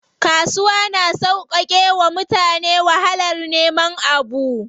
Kasuwa na sauƙake wa mutane wahalar neman abu.